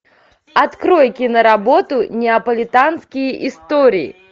открой киноработу неаполитанские истории